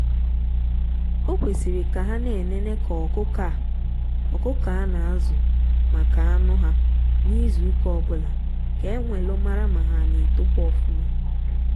okwesiri ka ha na-enene ka ọkụkọ a ọkụkọ a na azụ maka anụ ha n'izu ụka ọbula ka enwelu mara ma ha na etokwa ọfuma.